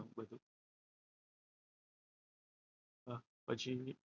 પછી,